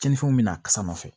Cɛnninfɛnw bɛ na ka sama fɛ